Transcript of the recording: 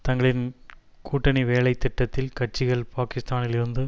தங்களின் கூட்டணி வேலை திட்டத்தில் கட்சிகள் பாக்கிஸ்தானிலிருந்து